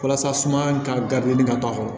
Walasa suma ka gabilen ka to a kɔrɔ